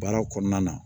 Baara kɔnɔna na